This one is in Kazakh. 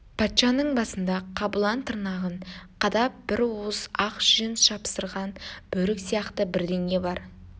патшаның басында қабылан тырнағын қадап бір уыс ақ жүн жапсырған бөрік сияқты бірдеңе бар